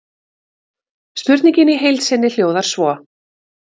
Spurningin í heild sinni hljóðar svo: